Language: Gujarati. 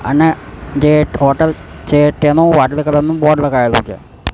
અને હોટલ છે તેનું વાદળી કલર નું બોર્ડ લગાઇલુ છે.